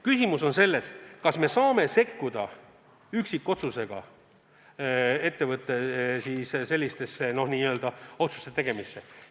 Küsimus on selles, kas me võime sekkuda üksikotsusega ettevõtte otsuste tegemisse.